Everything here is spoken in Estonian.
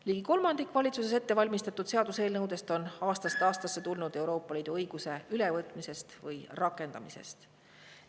Ligi kolmandik valitsuses ette valmistatud seaduseelnõudest on aastast aastasse tulnud Euroopa Liidu õiguse ülevõtmisest või rakendamisest.